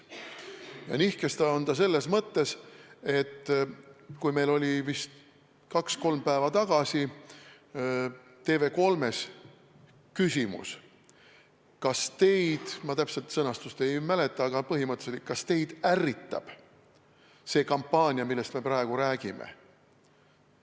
Ja nihkes on ta selles mõttes, et meil oli vist kaks-kolm päeva tagasi TV3-s küsimus – ma täpselt sõnastust ei mäleta, aga põhimõtteliselt –, kas teid ärritab see kampaania, millest me praegu räägime.